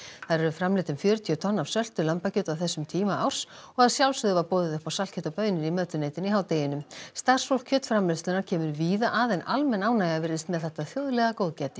þar eru framleidd um fjörutíu tonn af söltu lambakjöti á þessum tíma árs og að sjálfsögðu var boðið upp á saltkjöt og baunir í mötuneytinu í hádeginu starfsfólk kjötframleiðslunnar kemur víða að en almenn ánægja virtist með þetta þjóðlega góðgæti